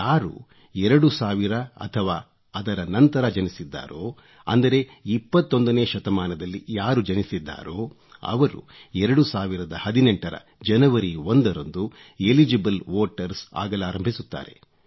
ಯಾರು 2000 ಅಥವಾ ಅದರ ನಂತರ ಜನಿಸಿದ್ದಾರೋ ಅಂದರೆ 21ನೇ ಶತಮಾನದಲ್ಲಿ ಯಾರು ಜನಿಸಿದ್ದಾರೋ ಅವರು 2018 ರ ಜನವರಿ 1 ರಂದು ಎಲಿಜಿಬಲ್ ವೋಟರ್ಸ್ ಆಗಲಾರಂಭಿಸುತ್ತಾರೆ